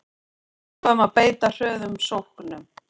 Við ákváðum að beita hröðum sóknum